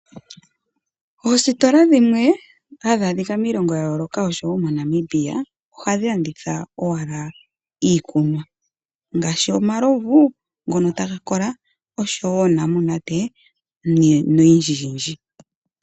Oositola dhimwe hadhi a dhika miilonga ya yooloka ngaashi moNamibia ohadhi landitha owala iikunwa ngaashi omalovu ngono taga kola nosho woo uunamunate no yindji yindji.